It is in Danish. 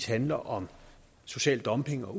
handler om social dumping og